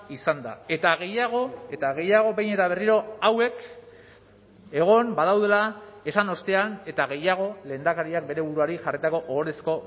izanda eta gehiago eta gehiago behin eta berriro hauek egon badaudela esan ostean eta gehiago lehendakariak bere buruari jarritako ohorezko